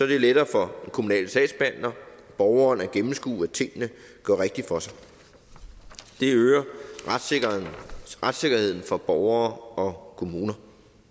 det lettere for den kommunale sagsbehandler og borgeren at gennemskue at tingene går rigtigt for sig det øger retssikkerheden for borgere og kommuner